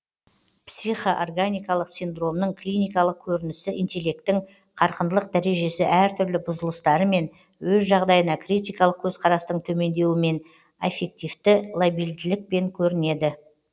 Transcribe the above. психоорганикалық синдромның клиникалық көрінісі интеллекттің қарқындылық дәрежесі әртүрлі бұзылыстарымен өз жағдайына критикалық көзқарастың төмендеуімен аффективті лабильділікпен көрінеді